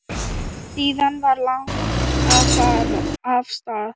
Síðan var lagt af stað.